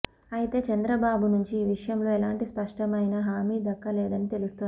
అయితే చంద్రబాబు నుంచి ఈ విషయంలో ఎలాంటి స్పష్టమైన హామీ దక్కలేదని తెలుస్తోంది